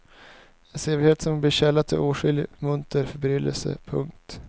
En sevärdhet som blir källa till åtskillig munter förbryllelse. punkt